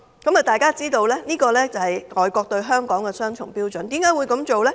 這樣大家便知道，這是外國對香港的雙重標準。